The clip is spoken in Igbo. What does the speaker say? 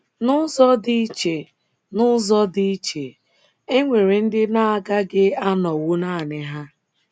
N’ụzọ dị iche N’ụzọ dị iche, e nwere ndị na - agaghị anọwụ nanị ha.